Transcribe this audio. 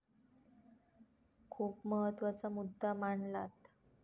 खूप महत्वाचा मुद्दा मांडलात.